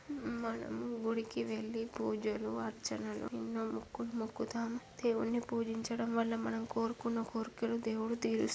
మనం గుడికి వెళ్లి పూజలు అర్చనలు ఎన్నో మొక్కులు మొక్కుతాం దేవుణ్ణి పూజించడం వల్ల మనం కోరుకున్న కోరికెలు దేవుడు తీరుస్ --